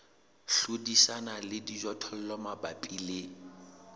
hlodisana le dijothollo mabapi le